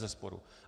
Bezesporu.